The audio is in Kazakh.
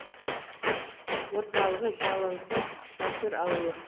орталығы жалаңтас батыр ауылы